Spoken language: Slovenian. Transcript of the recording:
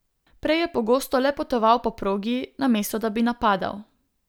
Prej je pogosto le potoval po progi, namesto da bi napadal.